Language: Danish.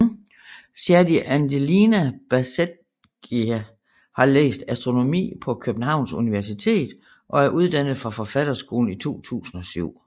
Shadi Angelina Bazeghi har læst Astronomi på Københavns Universitet og er uddannet fra Forfatterskolen i 2007